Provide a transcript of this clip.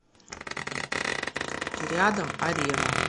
рядом арена